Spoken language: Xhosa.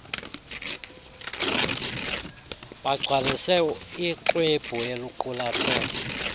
bagcwalise ixhwebhu eliqulathe